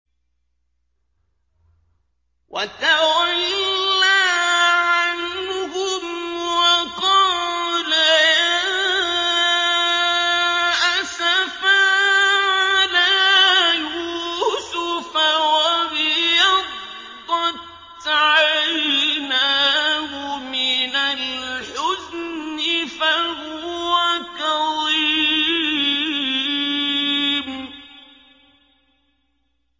وَتَوَلَّىٰ عَنْهُمْ وَقَالَ يَا أَسَفَىٰ عَلَىٰ يُوسُفَ وَابْيَضَّتْ عَيْنَاهُ مِنَ الْحُزْنِ فَهُوَ كَظِيمٌ